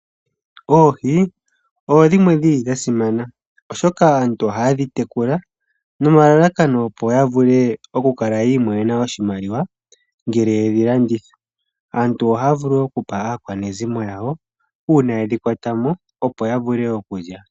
Oohi odha simana oshoka aantu oha ye dhi tekula nomalalakano opo yavule oku kala yi imonena oshimaliwa ngele ye dhi landitha. Oha ya vulu wo okupa aakwanezimo yawo uuna ye dhikwatamo opo yavule okulya.